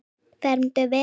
fermt verður.